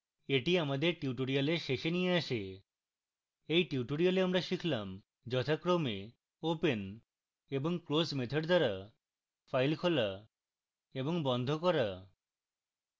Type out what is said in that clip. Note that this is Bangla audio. এটি আমাদের tutorial শেষে নিয়ে আসে